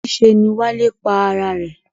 Níse ni Wálé pa ara rè.